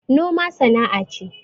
Noma sana'a ce